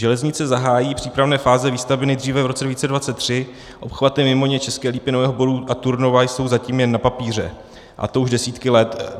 Železnice zahájí přípravné fáze výstavby nejdříve v roce 2023, obchvaty Mimoně, České Lípy, Nového Boru a Turnova jsou zatím jen na papíře, a to už desítky let.